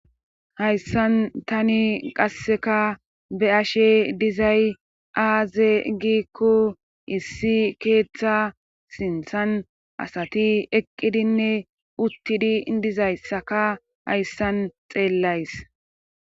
hayssan tani qasseka be7ashe dizay aaze gikko issi keeththa sinthan asati eqqidinne uttidi dizayssaka hayssan xeellays